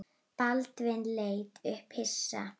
Baldvin leit upp hissa.